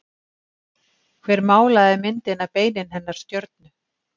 Hver málaði myndina Beinin hennar stjörnu?